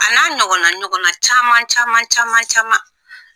A n'a ɲɔgɔnna ɲɔgɔnna caman caman caman caman